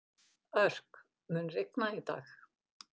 Örk, mun rigna í dag?